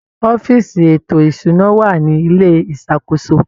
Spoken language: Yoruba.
Ọ́fíìsì ètò ìṣụ́ná wà ní ilé ìṣakóso.